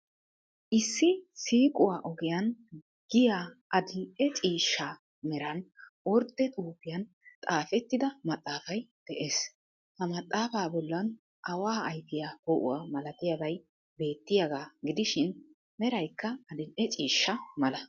Issi siiquwa ogiyan giya adil''e ciishsha meran ordde xuufiyan xaafettida maxaafay de'ees. Ha maxaafaa bollan away ayfiya poo'uwa malatiyabay beettiyaaga gidishin meraykka adil''e ciishsha mala.